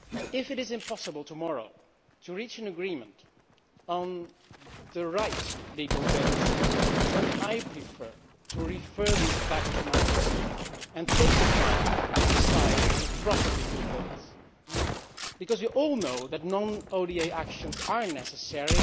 If it is impossible tomorrow to reach agreement on the right legal basis, then I would prefer to refer this back to my committee and to take time to decide on a proper legal basis, because we all know that non ODA actions are necessary.